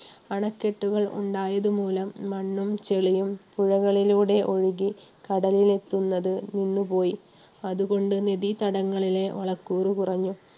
അണക്കെട്ടുകൾ ഉണ്ടായത് മൂലം മണ്ണും ചെളിയും പുഴകളിലൂടെ ഒഴുകി കടലിൽ എത്തുന്നത് നിന്നു പോയി. അതുകൊണ്ട് നിധി തടങ്ങളിലെ വളക്കൂറു കുറഞ്ഞു.